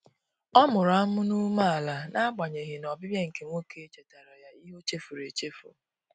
Ọ mụrụ amụ n'umeala na agbanyeghị na ọbịbịa nke nwoke chetara ya ihe ochefuru echefu.